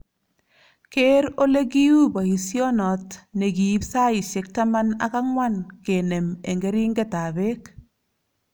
Keer olekiu boisionot ne kiib saisiek taman ak ang'wan kenem eng keringetab beek .